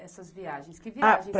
Essas viagens, que viagens são essas?